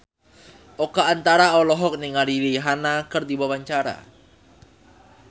Oka Antara olohok ningali Rihanna keur diwawancara